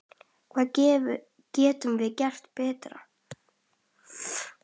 Hvað getum við gert betur?